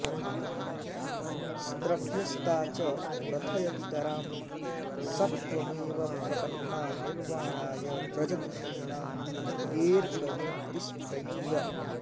स्त्रभ्यस्ता च प्रथयतितरां सत्त्वमेव प्रपन्ना निर्वाणाय व्रजति शमिनां तेऽर्क भक्तिस्त्रयीव